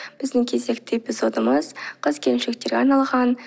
біздің кезекті эпизодымыз қыз келіншектерге арналған